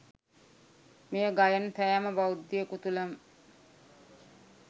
මෙය ගයන සෑම බෞද්ධයෙකු තුළම